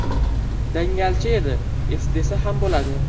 Dangalchi edi, desa ham bo‘ladi.